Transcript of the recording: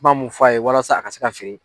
kuma mun f'a ye walasa a ka se ka feere.